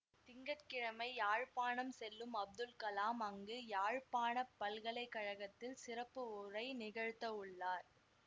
திங்க கிழமை யாழ்ப்பாணம் செல்லும் அப்துல் கலாம் அங்கு யாழ்ப்பாண பல்கலை கழகத்தில் சிறப்பு ஊரை நிகழ்த்தவுள்ளார்